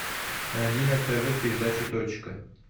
найди на тв передачу точка